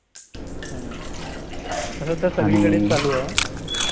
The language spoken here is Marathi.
तसं तर सगळीकडेच चालू आहे